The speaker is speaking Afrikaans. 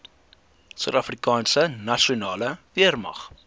suidafrikaanse nasionale weermag